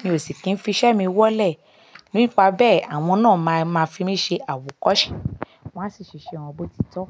mi ò sì kín fi iṣẹ́ mi wọlé. Nípa bẹ́ẹ̀, àwọn náà máa máa fi mí ṣe àwòkọ́ṣe. Wọ́n á sì ṣe won bí ótitọ́